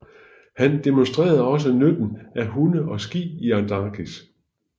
Han demonstrerede også nytten af hunde og ski i Antarktis